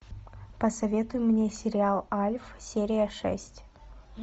посоветуй мне сериал альф серия шесть